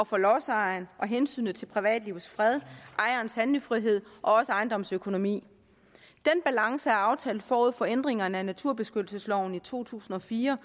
for lodsejerne og for hensynet til privatlivets fred ejerens handlefrihed og ejendommens økonomi den balance blev aftalt forud for ændringerne af naturbeskyttelsesloven i to tusind og fire